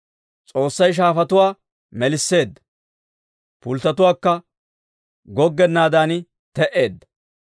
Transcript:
S'oossay shaafatuwaa melisseedda; pulttotuukka goggennaadan te"eedda.